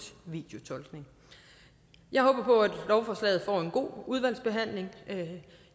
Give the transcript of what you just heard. videotolkning jeg håber på at lovforslaget får en god udvalgsbehandling